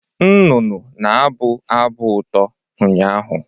Nnụnụ na-abụ abụ ụtọ ụnyaahụ